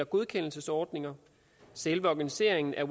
godkendelsesordninger selve organiseringen af